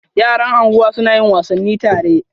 Yara anguwa suna yin wasanni tare.